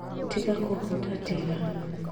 Tiga kũhutatĩra